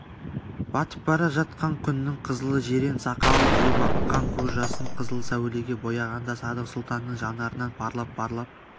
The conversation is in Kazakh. батып бара жатқан күннің қызылы жирен сақалын жуып аққан көз жасын қызыл сәулеге бояғанда садық сұлтанның жанарынан парлап-парлап